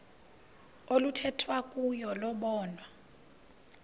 oluthethwa kuyo lobonwa